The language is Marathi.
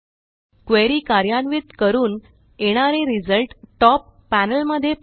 क्वेरी कार्यान्वित करून येणारा रिझल्ट टॉप पॅनेलमध्ये पहा